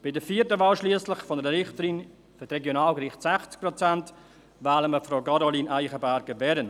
Bei der vierten Wahl einer Richterin für die Regionalgerichte schliesslich, 60 Prozent, wählen wir Frau Caroline Eichenberger-Wehren.